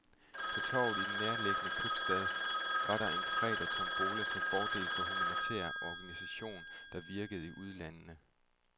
På torvet i den nærliggende købstad var der en fredag tombola til fordel for en humanitær organisation, der virkede i ulandene.